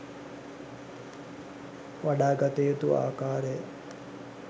වඩා ගත යුතු ආකාරය